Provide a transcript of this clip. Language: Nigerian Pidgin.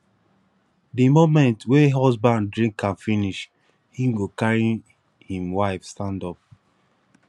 di moment wey husband drink am finish him go carry him wife stand up